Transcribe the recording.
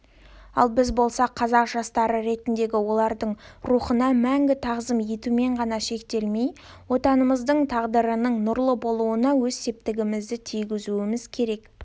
ал біз болсақ қазақ жастары ретіндегі олардың рухына мәңгі тағзым етумен ғана шектелмей отанымыздың тағдырының нұрлы болуына өз септігімізді тигізуіміз керек